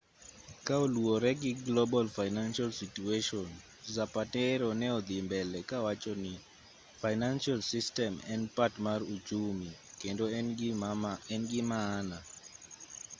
ka oluwore gi global financial situation zapatero ne odhi mbele ka wachoni financial system en part mar uchumi kendo en gi maana